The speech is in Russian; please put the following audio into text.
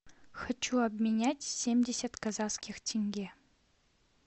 хочу обменять семьдесят казахских тенге